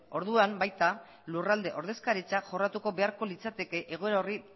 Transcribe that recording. orduan baita lurralde ordezkaritza jorratu beharko litzateke egoera horri